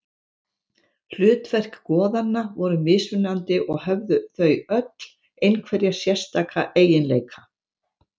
Hlutverk goðanna voru mismunandi og höfðu þau öll einhverja sérstaka eiginleika.